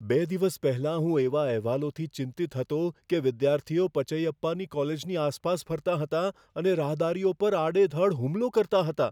બે દિવસ પહેલાં હું એવા અહેવાલોથી ચિંતિત હતો કે વિદ્યાર્થીઓ પચૈયપ્પાની કોલેજની આસપાસ ફરતાં હતાં અને રાહદારીઓ પર આડેધડ હુમલો કરતાં હતાં.